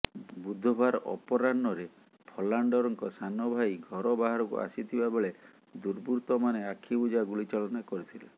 ବୁଧବାର ଅପରାହ୍ନରେ ଫଲାଣ୍ଡରଙ୍କ ସାନ ଭାଇ ଘର ବାହାରକୁ ଆସିଥିବାବେଳେ ଦୁବୃର୍ତ୍ତମାନେ ଆଖିବୁଜା ଗୁଳି ଚାଳନା କରିଥିଲେ